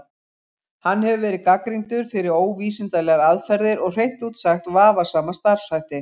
Hann hefur verið gagnrýndur fyrir óvísindalegar aðferðir og hreint út sagt vafasama starfshætti.